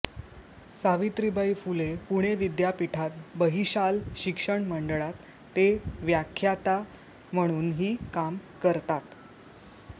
सावित्रीबाई फुले पुणे विद्यापीठात बहिशाल शिक्षणमंडळात ते व्याख्याता म्हणूनही काम करतात